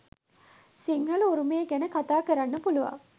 සිංහල උරුමය ගැන කතා කරන්න පුළුවන්.